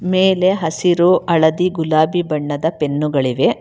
ಮೇಲೆ ಹಸಿರು ಹಳದಿ ಗುಲಾಬಿ ಬಣ್ಣದ ಪೆನ್ನುಗಳಿವೆ.